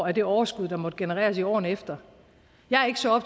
af det overskud der måtte genereres i årene efter jeg er ikke så